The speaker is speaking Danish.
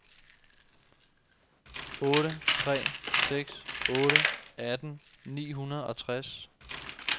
otte tre seks otte atten ni hundrede og tres